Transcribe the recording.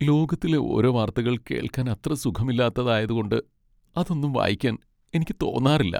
ലോകത്തിലെ ഓരോ വാർത്തകൾ കേൾക്കാൻ അത്ര സുഖമില്ലാത്തതായത് കൊണ്ട് അതൊന്നും വായിക്കാൻ എനിക്ക് തോന്നാറില്ല.